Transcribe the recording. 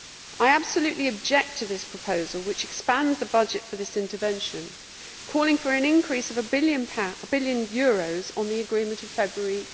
I absolutely object to this proposal which expands the budget for this intervention, calling for an increase of EUR 1 billion on the agreement of February